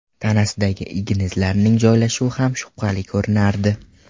Tanasidagi igna izlarining joylashuvi ham shubhali ko‘rinardi.